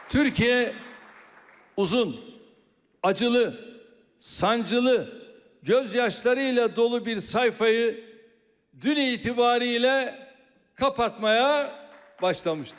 Türkiyə uzun, acılı, ağrılı, göz yaşlarıyla dolu bir səhifəni dünən etibarı ilə bağlamağa başlamışdır.